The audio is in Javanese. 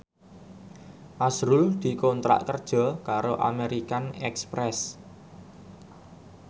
azrul dikontrak kerja karo American Express